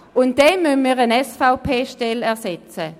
Dann müssen wir eine SVP-Stelle ersetzen.